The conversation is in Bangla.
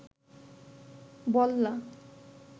বল্লা